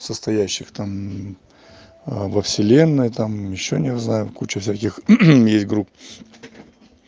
состоящих там во вселенной там ещё не знаю куча всяких есть групп